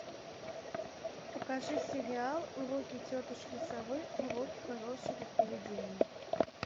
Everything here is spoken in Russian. покажи сериал уроки тетушки совы уроки хорошего поведения